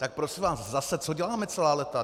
Tak prosím vás, zase, co děláme celá léta?